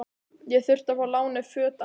Ég þurfti að fá lánuð föt af